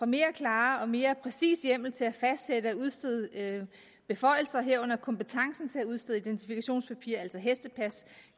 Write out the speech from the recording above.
mere klar og mere præcis hjemmel til at fastsætte og udstede beføjelser herunder at kompetencen til at udstille identifikationspapirer altså hestepas